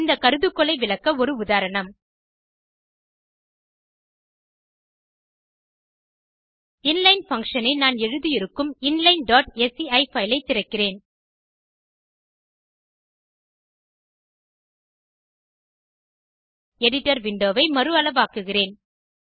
இந்த கருதுகோளை விளக்க ஒரு உதாரணம் இன்லைன் பங்ஷன் ஐ நான் எழுதியிருக்கும் inlineஸ்சி பைல் ஐ திறக்கிறேன் எடிட்டர் விண்டோ வை மறு அளவாக்குகிறேன்